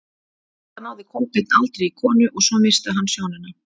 Enda náði Kolbeinn aldrei í konu og svo missti hann sjónina.